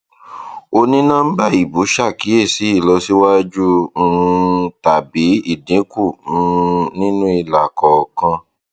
onínọmbà ìbú ṣàkíyèsí ìlọsíwájú um tàbí ìdínkù um nínú ilà kọọkan